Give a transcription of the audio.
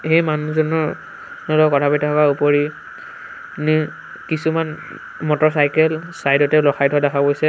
এই মানুহজনৰ লগত কথা পাতি থকাৰ ওপৰি ও কিছুমান মটৰচাইকেল চাইড তে ৰখাই থোৱা দেখা গৈছে আৰ --